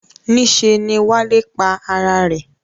Níse ni Wálé pa ara rè.